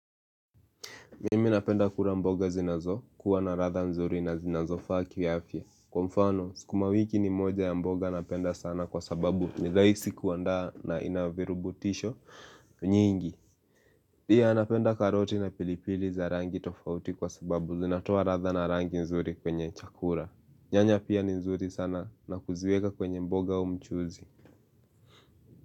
Mimi napenda kula mboga zinazokuwa na ladha nzuri na zinazofaa kiafya. Kwa mfano, sukuma wiki ni moja ya mboga napenda sana kwa sababu, nirahisi kuandaa na inavirutubisho nyingi. Pia napenda karoti na pilipili za rangi tofauti kwa sababu zinatoa ladha na rangi nzuri kwenye chakula. Nyanya pia ni nzuri sana na kuziweka kwenye mboga au mchuzi.